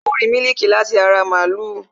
A ó rìí mílíkì láti ara màlúù